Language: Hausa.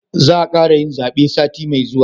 Za a kara yin zabe sati mai zuwa